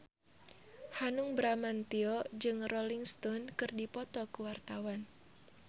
Hanung Bramantyo jeung Rolling Stone keur dipoto ku wartawan